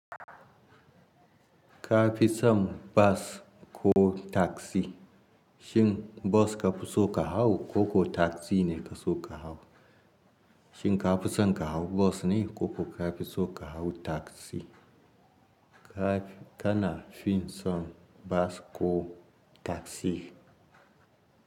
Ka fi son bas ko taksi? Shin bas ka fi so ka hau ko ko taksi ne ka so ka hau? Shin ka fi son ka hau bas ne ko ko ka fi so ka hau taksi? Ka, kana fin son bas ko taksi?